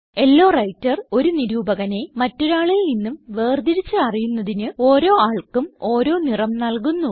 law writer ഒരു നിരൂപകനെ മറ്റൊരാളിൽ നിന്നും വേർതിരിച്ച് അറിയുന്നതിന് ഓരോ ആൾക്കും ഓരോ നിറം നല്കുന്നു